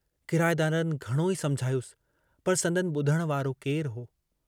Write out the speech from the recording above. किराएदारनि घणोई समुझायुस पर संदनि बुधण वारो केरु हो।